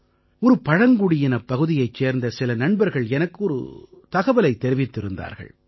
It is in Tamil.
ஒரு பழங்குடியினப் பகுதியைச் சேர்ந்த சில நண்பர்கள் எனக்கு ஒரு தகவலைத் தெரிவித்திருந்தார்கள்